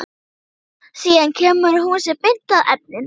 Síðan kemur hún sér beint að efninu.